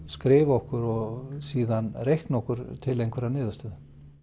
skrifa okkur og síðan reikna okkur til einhverrar niðurstöðu